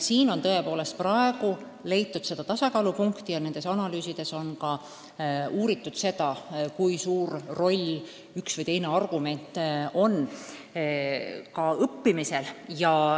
Tõepoolest on püütud leida seda tasakaalupunkti ja nendes analüüsides on ka uuritud, kui suur roll ühel või teisel põhjusel on õppimisel.